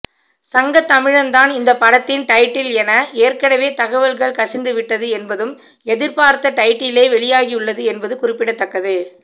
சங்கத்தமிழன் தான் இந்த படத்தின் டைட்டில் என ஏற்கனவே தகவல்கள் கசிந்துவிட்டது என்பதும் எதிர்பார்த்த டைட்டிலே வெளியாகியுள்ளது என்பதும் குறிப்பிடத்தக்கது